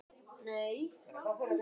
Mér er alveg sama hvað hún segir.